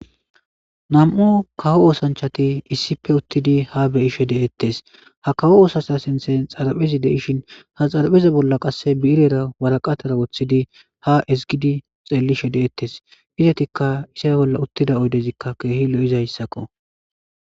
Nam'u kawo oosanchati issife uttidi ha beyishe de'ettes ha kawo oosasha sinthe xaraphezi de'ishin ha xarpheza bolla qasse biirera waraqatara woththidi ha izgidi xellishe de'ettes izatikka isa bolla uttida oydezikka keehi lo'izayssakko.